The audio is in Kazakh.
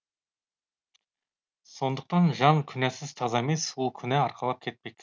сондықтан жан күнәсіз таза емес ол күнә арқалап кетпек